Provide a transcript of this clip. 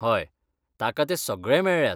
हय, ताका ते सगळे मेळ्ळ्यात.